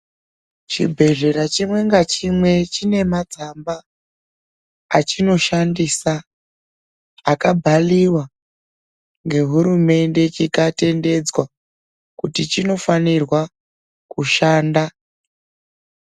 Chibhedhlera chimwe nachimwe chine matsamba, achinoshandisa akabhaliwa ngehurumende chikatendedzwa, kuti chinofanirwa kushanda.